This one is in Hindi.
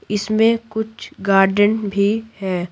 इसमें कुछ गार्डन भी है।